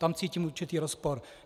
Tam cítím určitý rozpor.